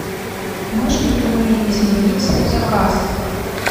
можем ли мы изменить свой заказ